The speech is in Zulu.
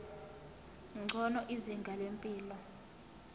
ngcono izinga lempilo